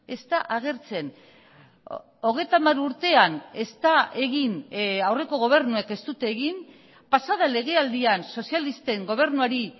ez da agertzen hogeita hamar urtean ez da egin aurreko gobernuek ez dute egin pasaden legealdian sozialisten gobernuari